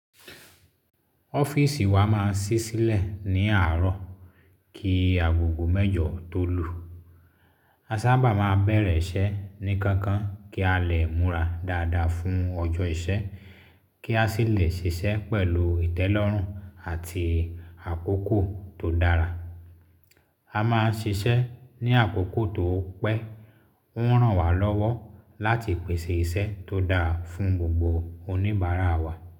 Ọ́fíìsì wa máa ń ṣí sílẹ̀ ní àárọ̀ kí agogo mẹ́jọ tó lù. A sábà máa ń bẹ̀rẹ̀ iṣẹ́ ní kánkán kí a lè múra dáadáa fún ọjọ́ iṣẹ́, kí a sì lè ṣiṣẹ́ pẹ̀lú ìtẹ́lọ́rùn àti àkókò tó dára. A máa ń ṣiṣẹ́ ní àkókò tó pẹ́; ó ń ràn wá lọ́wọ́ láti pèsè ìṣe tó dáa fún gbogbo oníbàárà wa.